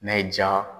N'a y'i jaa